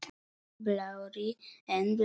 Blárri en blá.